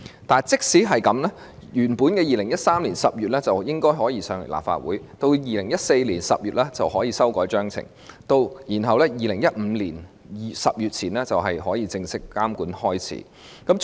但即使如此 ，2013 年10月應可把法案提交立法會，到了2014年10月就可以修改章程，然後在2015年10月前就可以正式開始監管。